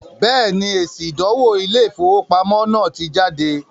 Bẹ́ẹ̀ni, èsì “ ìdánwò Ilé-ìfowópamọ́ ” náà ti jáde